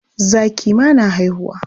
Zaki ma na haihuwa.